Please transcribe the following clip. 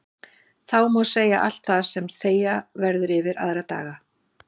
Þá má segja allt það sem þegja verður yfir aðra daga.